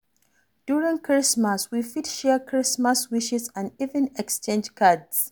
During christmas we fit share christmas wishes and even exchange cards